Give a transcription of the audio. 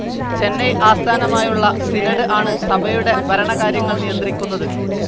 ചെന്നൈ ആസ്ഥാനമായുള്ള സിനോഡ്‌ ആണ് സഭയുടെ ഭരണകാര്യങ്ങൾ നിയന്ത്രിക്കുന്നത്.